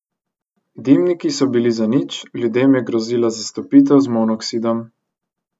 Dimniki so bili zanič, ljudem je grozila zastrupitev z monoksidom.